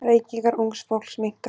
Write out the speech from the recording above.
Reykingar ungs fólks minnka.